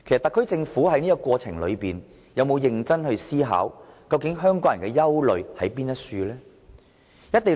特區政府在這個過程中有否認真思考香港人的憂慮為何呢？